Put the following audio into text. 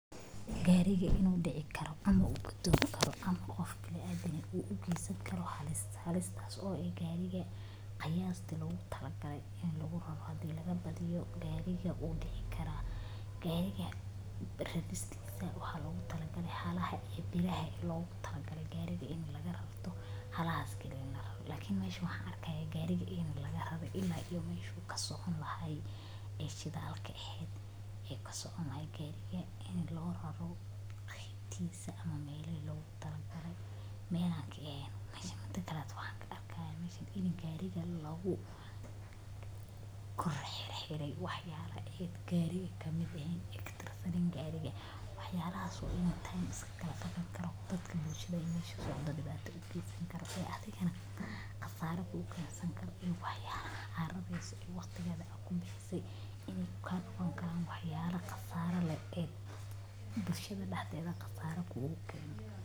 Gaariga inu dici karo ama gadomi karo ama qof bini adam ah ugeysan karo hali halista tas o eh gariga qayasti logatalagalay in laguraro hadi lagabadiyo gariga wu dici kara gariga raristisa waxa logatalagay hala e logatalagalay in gariga lagararto halahas kali in lararto lakin mesha waxan arkihaya giriga in lagararay ila meshu u kasoconayo e shidalka ahed e kasocon lahay gariga qebtisa ama melaha lagotri galay mel anka eheen hadi kaleto waxan karki haya gariga lagukorxerxeray waxyala e gariga kamid ehen e katirsanen gariga waxayalahas o idil e dib geysan adigana khasra kugeysan karo in waxyalaha arareyso e waqti akubixisay inay dip kusgeysan bulshada daxeda khasara kugeysan karo.